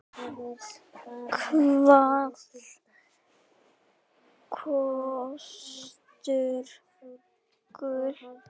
Hvað kostar gull?